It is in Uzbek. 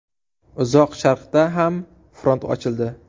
Uzoq Sharqda ham front ochildi.